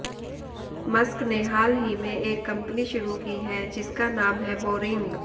Musk ने हाल ही में एक कंपनी शुरू की है जिसका नाम है बोरिंग